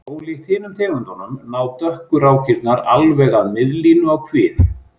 Ólíkt hinum tegundunum ná dökku rákirnar alveg að miðlínu á kviði.